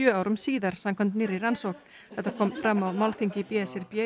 árum síðar samkvæmt nýrri rannsókn þetta kom fram á málþingi b s r b